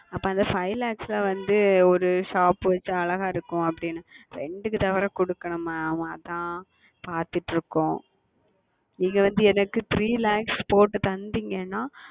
அப்பொழுது அந்த Five Lakhs வந்து Shop வைத்தால் அழகாக இருக்கும் அப்படி என்று Rent க்கு வேறு கொடுக்கவேண்டும் Mam அது தான் பார்த்து கொண்டு இருக்கிறோம் நீங்கள் வந்து எனக்கு Three Lakhs போட்டு கொடுத்தீர்கள் என்றால்